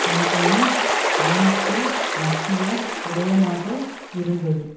கிளின்டனின் பயணத்தில் மத்திய விடயமாக இருந்தது